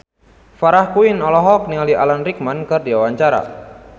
Farah Quinn olohok ningali Alan Rickman keur diwawancara